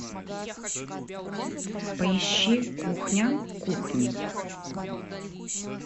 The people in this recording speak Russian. поищи кухня кухни